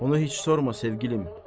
Onu heç sorma, sevgilim.